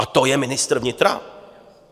A to je ministr vnitra?